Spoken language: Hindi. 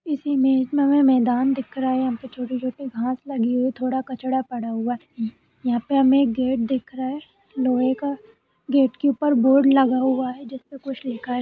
इस इमेज में हमें मैदान दिख रहा है। यहाँ पे छोटे-छोटे घास लगे हुए है। थोड़ा कचरा पड़ा हुआ है। यहाँ पे हमें एक गेट दिख रहा है लोहे का। गेट के ऊपर बोर्ड लगा हुआ है जिस पे कुछ लिखा है।